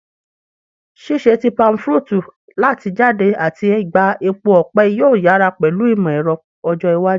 Ṣiṣẹda ti palmfruit lati jade ati gba epo ọpẹ yoo yara pẹlu imọ-ẹrọ ọjọ iwaju